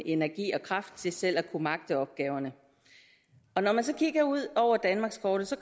energi og kraft til selv at kunne magte opgaverne når man så kigger ud over danmarkskortet så